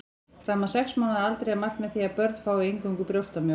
Fram að sex mánaða aldri er mælt með því að börn fái eingöngu brjóstamjólk.